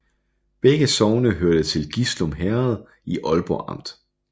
Begge sogne hørte til Gislum Herred i Aalborg Amt